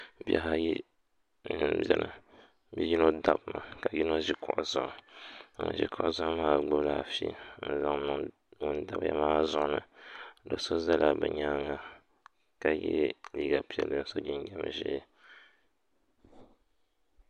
Bihi ayi n ʒiya yino dabimi ka yino ʒi kuɣu zuɣu ŋun ʒi kuɣu zuɣu maa gbubila afi n niŋ ŋun dabiya maa zuɣu ni do so ʒɛla bi nyaanga ka yɛ liiga piɛlli ka so jinjɛm ʒiɛ